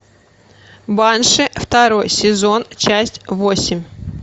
банши второй сезон часть восемь